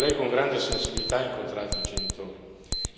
So che lei, con grande sensibilità, ha incontrato i genitori.